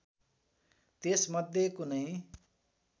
त्यस मध्ये कुनै